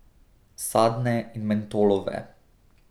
Sadne in mentolove.